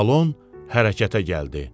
Salon hərəkətə gəldi.